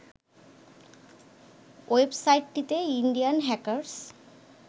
ওয়েবসাটটিতে Indian hackers